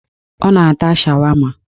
Ọ na-ata shawama